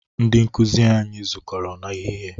Ndị nkụzi anyi zukọrọ n'ehihie